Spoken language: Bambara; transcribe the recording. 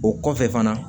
O kɔfɛ fana